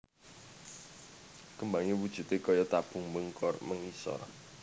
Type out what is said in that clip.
Kembangé wujudé kaya tabung mbengkong mengisor